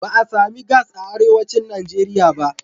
Ba a sami gas a arewacin Najeriya ba.